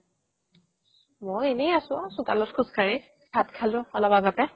মই এনে আছো ঔ চোতালত খোজ কাঢ়ি ভাত খালো অলপ আগতে